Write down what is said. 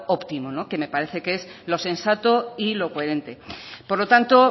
óptimo que me parece que es lo sensato y lo coherente por lo tanto